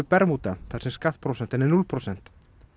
Bermúda þar sem skattprósentan er núll prósent